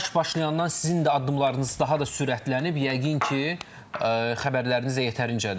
Bu savaş başlayandan sizin də addımlarınız daha da sürətlənib, yəqin ki, xəbərləriniz də yetərincədir.